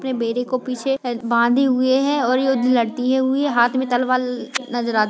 अपने बेटे को पीछे बंधे हुए है और युद्ध लड़ती हुई हाथ मे तलवार नजर आत --